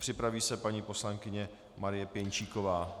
Připraví se paní poslankyně Marie Pěnčíková.